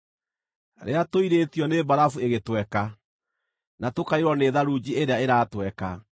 rĩrĩa tũirĩtio nĩ mbarabu ĩgĩtweka, na tũkaiyũrwo nĩ tharunji ĩrĩa ĩratweka,